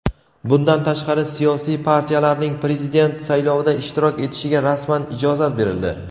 Bundan tashqari siyosiy partiyalarning Prezident saylovida ishtirok etishiga rasman ijozat berildi.